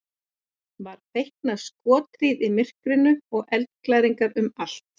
var feikna skothríð í myrkrinu og eldglæringar um allt